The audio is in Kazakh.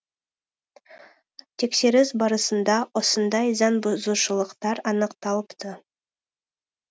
тексеріс барысында осындай заңбұзушылықтар анықталыпты